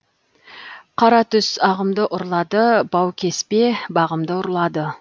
қара түс ағымды ұрлады баукеспе бағымды ұрлады